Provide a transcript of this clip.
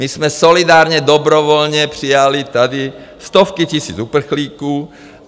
My jsme solidárně, dobrovolně přijali tady stovky tisíc uprchlíků.